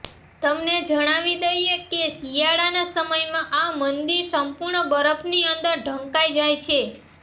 તમને જણાવી દઈએ કે શિયાળાના સમયમાં આ મંદિર સંપૂર્ણ બરફની અંદર ઢંકાઈ જાય છે